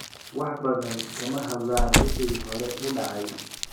Wax badan kama hadlaan wixii hore u dhacay.